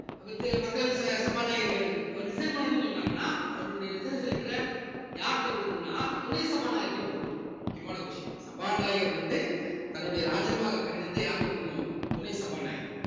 அடுத்து மக்களவை ச~ சபாநாயகர் இருக்காரு அவர் resign பண்ணணும்னு சொன்னாங்கன்னா அவருடைய resignation letter அ யார்கிட்ட கொடுக்கணும்னா துணை சபாநாயகர்ட்ட கொடுக்கணும் முக்கியமான question சபாநாயகர் வந்து தன்னுடைய ராஜினாமா கடிதத்தை யார்கிட்ட கொடுக்கணும் துணை சபாநாயகர்